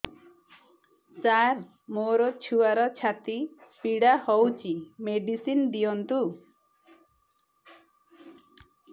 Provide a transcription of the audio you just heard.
ସାର ମୋର ଛୁଆର ଛାତି ପୀଡା ହଉଚି ମେଡିସିନ ଦିଅନ୍ତୁ